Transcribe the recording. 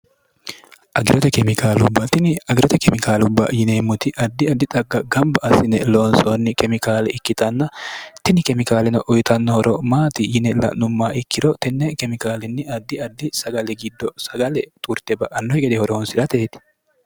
agirote kemikaalubbatini agirote kemikaalubba yineemmoti addi addi xagg gamba assine loonsoonni kemikaali ikkitanna tini kemikaalino uyitannohoro maati yine la'nummaa ikkiro tenne kemikaalinni addi adi sagali giddo sagale turte ba'annoh gede horohonsi'rateeti